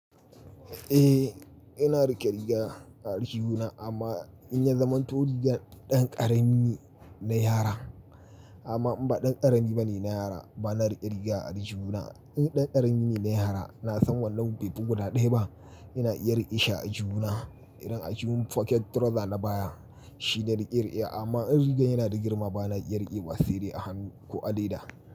Eh, ina riƙe riga a aljihuna amma in ya zama to rigar ɗan ƙarami ne na yara. Amma in ba ɗan ƙarami bane na yara ba na riƙe riga a aljihuna. In ɗan ƙarami ne na yara na san wannan baifi guda ɗaya ba ina iya riƙe shi a aljihuna. Idan aljihun pocket trouser na baya shine nake rikewa amma in rigar yana da girma ba na iya riƙewa saide a hannun ko a leda.